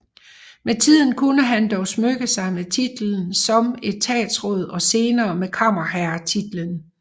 Med tiden kunne han dog smykke sig med titlen som etatsråd og senere med kammerherretitlen